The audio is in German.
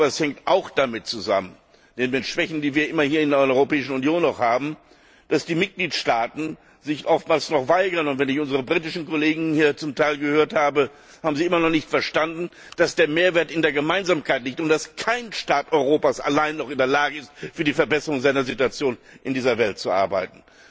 Das hängt auch damit zusammen neben den Schwächen, die wir immer noch in der Europäischen Union haben dass die Mitgliedstaaten sich oftmals noch weigern. Und wenn ich unsere britischen Kollegen hier zum Teil gehört habe, haben sie immer noch nicht verstanden, dass der Mehrwert in der Gemeinsamkeit liegt und dass kein Staat Europas alleine in der Lage ist, für die Verbesserung seiner Situation in dieser Welt zu arbeiten.